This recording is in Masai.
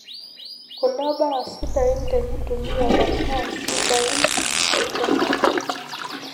Kuna mbaaa sidain tenintumia masaa sidain enchetare.